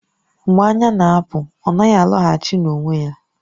Mgbe anya na-apụ, ọ naghị alọghachi n'onwe ya